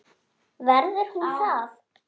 Verður hún það?